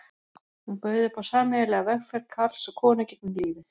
Hún bauð upp á sameiginlega vegferð karls og konu gegnum lífið.